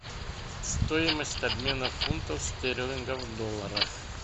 стоимость обмена фунтов стерлингов в долларах